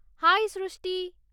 ହାଏ ସୃଷ୍ଟି!